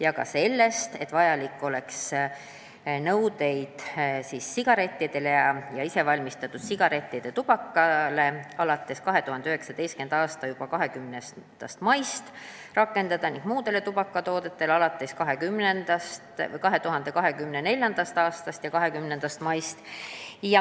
Ta rääkis ka sellest, et nõudeid sigarettide ja isevalmistatud sigarettide tubaka pakendite kohta tuleks rakendada juba selle aasta 20. maist ning muude tubakatoodete puhul alates 2024. aasta 20. maist.